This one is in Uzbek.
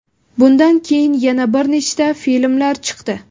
Bundan keyin yana bir nechta filmlar chiqdi.